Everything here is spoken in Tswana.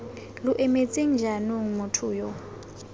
lo emetseng jaanong motho yo